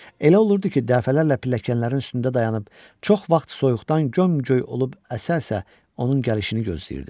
Elə olurdu ki, dəfələrlə pilləkanların üstündə dayanıb, çox vaxt soyuqdan göm-göy olub əsə-əsə onun gəlişini gözləyirdim.